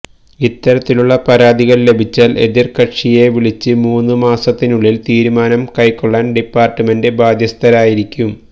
ഇത്തരത്തിലുള്ള പരാതികൾ ലഭിച്ചാൽ എതിർ കക്ഷിയെ വിളിപ്പിച്ച് മൂന്നു മാസത്തിനുള്ളിൽ തീരുമാനം കൈക്കൊള്ളാൻ ഡിപ്പാർട്ട്മെന്റ് ബാധ്യസ്ഥമായിരിക്കും